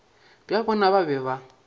bja bona ba be ba